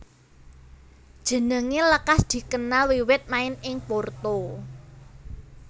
Jenengé lekas dikenal wiwit main ing Porto